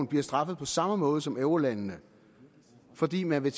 bliver straffet på samme måde som eurolandene fordi man vil